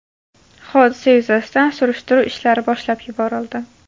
Hodisa yuzasidan surishtiruv ishlari boshlab yuborildi.